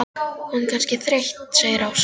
Hún er kannski þreytt segir Ása.